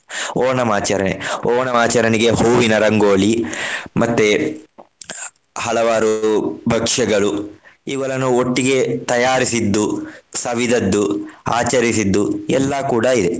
ಓಣಂ ಆಚರಣೆ. ಓಣಂ ಆಚರಣೆಗೆ ಹೂವಿನ ರಂಗೋಲಿ ಮತ್ತೆ ಹಲವಾರು ಭಕ್ಷ್ಯಗಳು ಇವುಗಳನ್ನು ಒಟ್ಟಿಗೆ ತಯಾರಿಸಿದ್ದು ಸವಿದದ್ದು ಆಚರಿಸಿದ್ದು ಎಲ್ಲಾ ಕೂಡ ಇದೆ.